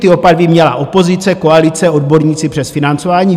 Ty obavy měla opozice, koalice, odborníci přes financování.